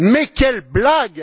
Mais quelle blague!